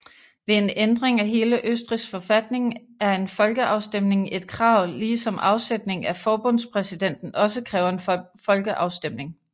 Ved en ændring af hele Østrigs forfatning er en folkeafstemning et krav ligesom afsætning af forbundspræsidenten også kræver en folkeafstemning